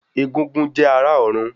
Egúngún jẹ́ ará ọ̀run